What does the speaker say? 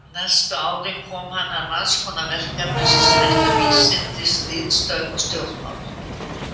Næstu árin kom hann að margs konar verkefnum sem snertu vísindi, ritstörf og stjórnmál.